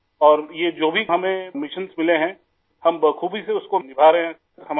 سر اور یہ جو بھی ہمیں مشن ملے ہیں ، ہم بخوبی اُس کو نبھا رہے ہیں